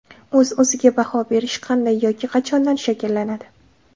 O‘z-o‘ziga baho berish qanday yoki qachondan shakllanadi?